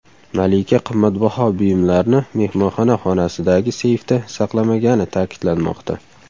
Malika qimmatbaho buyumlarni mehmonxona xonasidagi seyfda saqlamagani ta’kidlanmoqda.